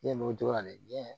Ne m'o cogo la dɛ